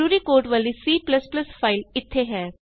ਜਰੂਰੀ ਕੋਡ ਵਾਲੀ C file ਇਥੇ ਹੈ